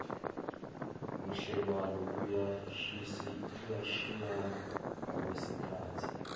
budlelwano buyashiyashiyana ngokwesikhathi